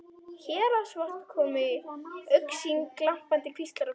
Héraðsvötn komu í augsýn, glampandi kvíslar á grundum.